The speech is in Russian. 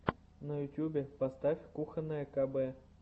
на ютюбе поставь кухонное кб